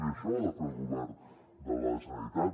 i això ho ha de fer el govern de la generalitat